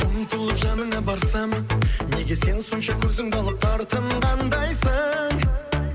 мұң толып жаныңа барсам неге сен сонша көзіңді алып тартынғандайсың